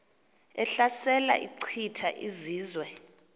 ehlasela echitha izizwe